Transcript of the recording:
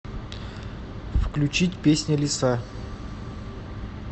включить песня лиса